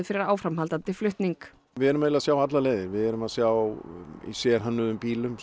fyrir áframhaldandi flutning við erum eiginlega að sjá allar leiðir við erum að sjá í sérhönnuðum bílum